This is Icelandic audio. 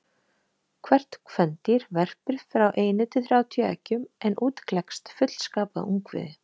Hvert kvendýr verpir frá einu til þrjátíu eggjum en út klekst fullskapað ungviði.